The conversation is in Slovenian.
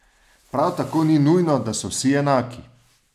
Prav tako ni nujno, da so vsi enaki.